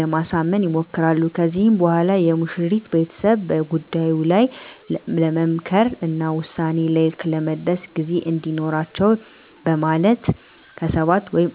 ለማሳመን ይሞክራሉ። ከዚህም በኋላ የሙሽሪት ቤተሰብ በጉዳዩ ላይ ለመምከር እና ውሳኔ ላይ ለመድረስ ጊዜ እንዲኖራቸው በማለት ከ7 ወይም